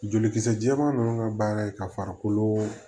Jolikisɛ jɛman ninnu ka baara ye ka farikolo